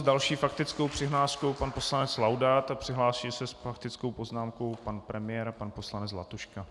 S další faktickou přihláškou pan poslanec Laudát a připraví se s faktickou poznámkou pan premiér a pan poslanec Zlatuška.